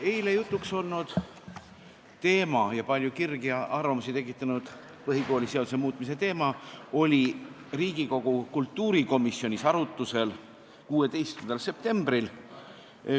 Eile jutuks olnud ja palju kirgi ja arvamusi tekitanud põhikooliseaduse muutmise teema oli Riigikogu kultuurikomisjonis arutusel 16. septembril.